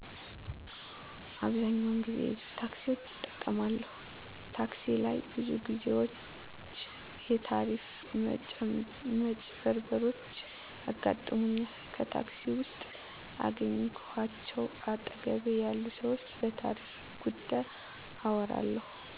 አብዛኛውን ጊዜ የህዝብ ታክሲዎችን እጠቀማለሁ ታክሲ ላይ ብዙ ግዜዎች የታሪፍ መጭበርበሮችያጋጥሙኛል ከታክሲ ውስጥ ከአገኘዃቸው አጠገቤ ያሉ ሰዎች በታሪፍ ጉዳይ አወራለሁ